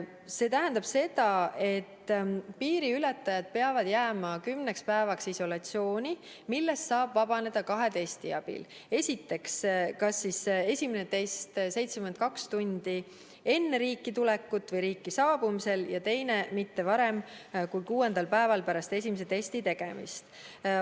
See tähendab seda, et piiriületajad peavad jääma kümneks päevaks isolatsiooni, millest saab vabaneda kahe testi abil: esimene test kas 72 tundi enne riiki tulekut või riiki saabumisel ja teine mitte varem kui kuuendal päeval pärast esimese testi tegemist.